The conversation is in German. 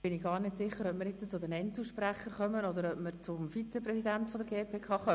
Ich bin mir gar nicht so sicher, ob wir nun zu den Einzelsprechern oder zum Vizepräsidenten der GPK kommen.